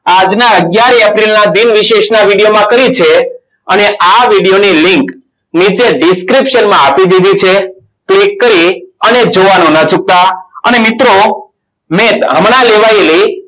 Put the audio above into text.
આજના અગિયાર april ના દિનને વિશેષ ના video માં કરી છે. અને આ video ની link નીચે description માં આપી દીધી છે. click કરી અને જોવાનું ન ચૂકતા અને મિત્રો net હમણાં લેવાયેલી